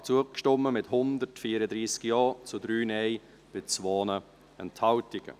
Sie haben diesem Antrag zugestimmt, mit 134 Ja- zu 3 Nein-Stimmen bei 2 Enthaltungen.